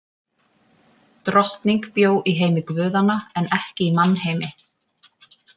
Drottning bjó í heimi guðanna en ekki í mannheimi.